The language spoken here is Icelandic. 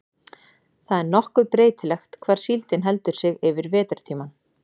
Það er nokkuð breytilegt hvar síldin heldur sig yfir vetrartímann.